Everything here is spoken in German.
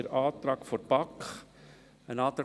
Wir unterstützen den Antrag